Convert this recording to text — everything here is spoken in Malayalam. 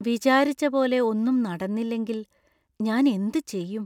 വിചാരിച്ച പോലെ ഒന്നും നടന്നില്ലെങ്കിൽ ഞാൻ എന്ത് ചെയ്യും?